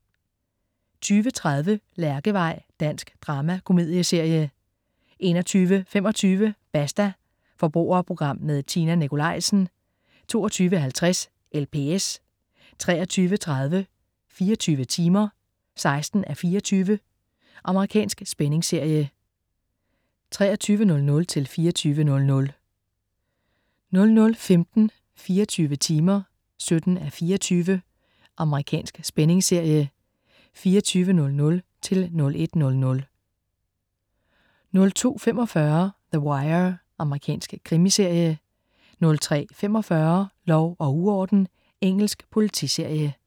20.30 Lærkevej. Dansk dramakomedieserie 21.25 Basta. Forbrugerprogram med Tina Nikolaisen 22.50 LPS 23.30 24 timer 16:24. Amerikansk spændingsserie. 23.00-24.00 00.15 24 timer 17:24. Amerikansk spændingsserie. 24.00-01.00 02.45 The Wire. Amerikansk krimiserie 03.45 Lov og uorden. Engelsk politiserie